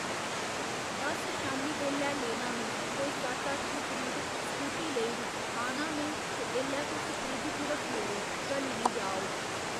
बस शामीं बेल्लै लेना में कोई सत्त अट्ठ दे करीब स्कूटी लेई री आना में ते एल्लै तुस फ्रिज च रक्खी ओड़ेओ घली निं जा ओह्।